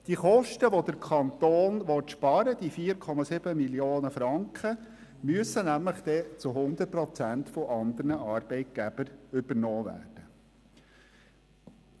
Die Kosten von 4,7 Mio. Franken, welche der Kanton sparen will, müssen nämlich zu 100 Prozent von anderen Arbeitgebern übernommen werden.